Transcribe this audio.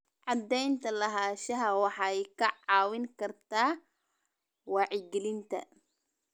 Cadaynta lahaanshaha waxay kaa caawin kartaa wacyigelinta.